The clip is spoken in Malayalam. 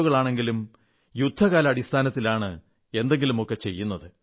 ഒ കളാണെങ്കിലും യുദ്ധകാലാടിസ്ഥാനത്താലാണ് എന്തെങ്കിലുമൊക്കെ ചെയ്യുന്നത്